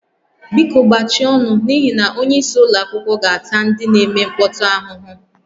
Biko gbachie ọnụ n'ihi na onyeisi ụlọ akwụkwọ ga-ata ndị na-eme mkpọtụ ahụhụ